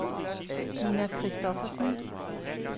Dina Christophersen